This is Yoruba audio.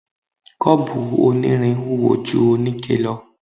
Kọ́ọ̀bù onírin wúwo ju oníke lọ